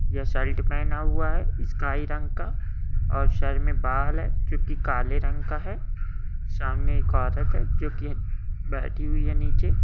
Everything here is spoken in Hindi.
यह शर्ट पहना हुआ है स्काई रंग का और सर में बाल है जोकि काले रंग का है सामने एक औरत है जोकि बैठी हुई है निचे।